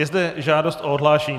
Je zde žádost o odhlášení.